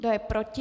Kdo je proti?